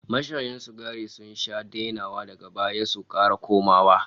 Mashaya sigari sun sha dainawa daga baya su kara komawa